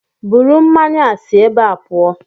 Buru mmanya a si ébé a pụọ!